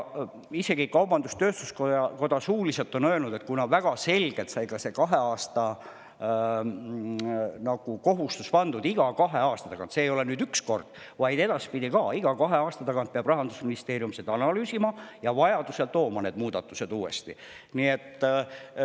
Isegi kaubandus-tööstuskoda on suuliselt öelnud, et kuna väga selgelt sai see kahe aasta kohustus pandud, et iga kahe aasta tagant – seda ei tule teha ainult üks kord, vaid tuleb ka edaspidi teha iga kahe aasta tagant, Rahandusministeerium peab seda analüüsima ja vajaduse korral tooma need muudatused uuesti.